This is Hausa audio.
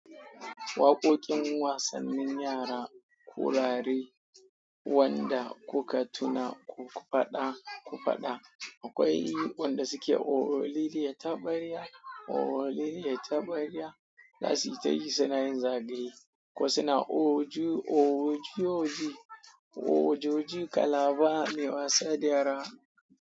Waƙoƙin wasannin yara kurare wanda kuka tuna ku faɗa, ku faɗa. Akwai wanda suke ooriliya taɓarya, ooriliya taɓarya. Za su ta yi suna yin zagaye ko suna orjo, orjorji, orjorji kalaba mai wasa da yara.